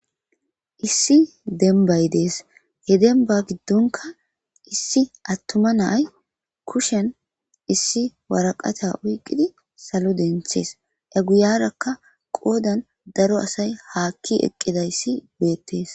issi denbay dees he denba giddonka issi attuma naay kushen issi waraqata uyqqidi salo denthees eguyarakka qoodan daro asay haakki eqqidayssi beettees